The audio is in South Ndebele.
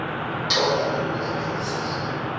tlola ngokulandelisana